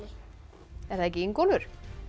er það ekki Ingólfur